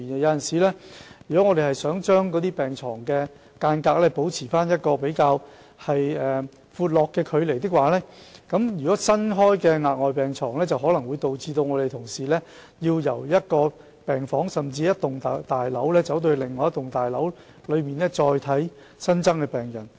院方確實希望把病床保持一個比較寬闊的距離，但在新增病床時，便可能令同事要由一間病房，甚至是一幢大樓走到另一幢大樓來照顧新增的病人。